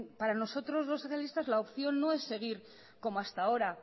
para nosotros los socialistas la opción no es seguir como hasta ahora